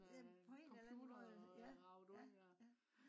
på en eller anden måde ja ja